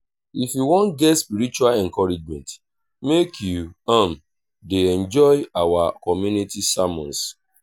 if you wan get spiritual encouragement make you um dey join our community sermons